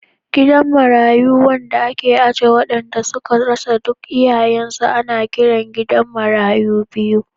Gidan marayu wanda ake aje waɗanda suka rasa duk iyayensu, ana kiransa gidan marayu biyu.